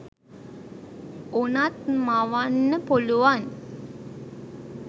වුනත් මවන්න පුළුවන්